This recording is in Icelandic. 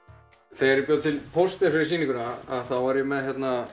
þegar ég bjó til poster fyrir sýninguna var ég með